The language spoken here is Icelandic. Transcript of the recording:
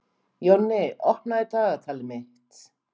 Jonni, opnaðu dagatalið mitt.